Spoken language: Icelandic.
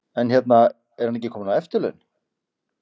En hérna, er hann ekki kominn á eftirlaun?